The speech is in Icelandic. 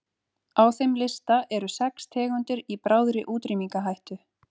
Á þeim lista eru sex tegundir í bráðri útrýmingarhættu.